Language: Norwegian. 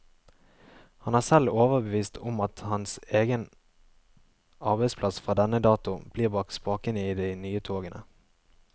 Han er selv overbevist om at hans egen arbeidsplass fra denne datoen blir bak spakene i de nye togene.